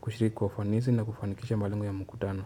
kushiriki kwa ufanisi na kufanikisha malengo ya mkutano.